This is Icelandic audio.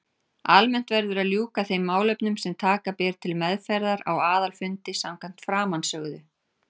Almennt verður að ljúka þeim málefnum sem taka ber til meðferðar á aðalfundi samkvæmt framansögðu.